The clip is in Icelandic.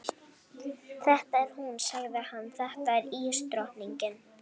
Þetta er hún, sagði hann, þetta er ísdrottningin.